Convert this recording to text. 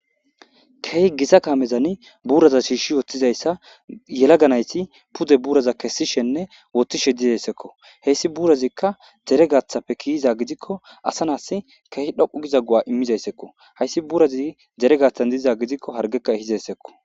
Kehi gita kamezanne buraza shiishi wothizaysa yelaga nayti haysi pude buraza Kesishenne wothishe dizaysakko hesi burazikka dere gathappe kiyiza gidikko asa nasi kehi dhoqu giza go'a imizaysakko haysi burazi dere gathan diza gidikko hargekka ehizaysakko